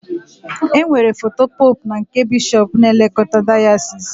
E nwere foto pope na nke bishop na-elekota dayasis.